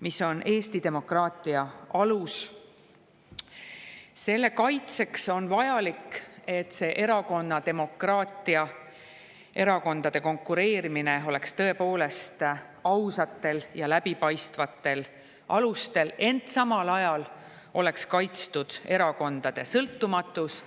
mis on Eesti demokraatia alus, on vajalik, et erakonnademokraatia, erakondade konkureerimine oleks tõepoolest ausatel ja läbipaistvatel alustel, ent samal ajal oleks kaitstud erakondade sõltumatus.